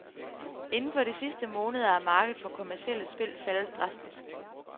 Inden for de sidste måneder er markedet for kommercielle spil faldet drastisk.